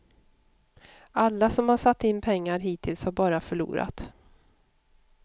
Alla som har satt in pengar hittills har bara förlorat.